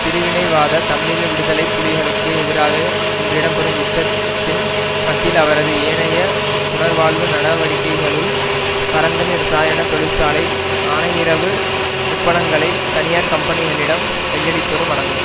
பிரிவினைவாத தமிழீழ விடுதலை புலிகளுக்கு எதிராக இன்று இடம்பெறும் யுத்தத்தின் மத்தியில் அவரது ஏனைய புனர்வாழ்வு நடவடிக்கைகளுள் பரந்தன் இரசாயன தொழிற்சாலை ஆனையிறவு உப்பளங்களை தனியார் கம்பனிகளிடம் கையளிப்பதும் அடங்கும்